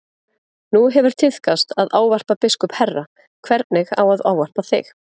Nú hefur tíðkast að ávarpa biskup herra, hvernig á að ávarpa þig?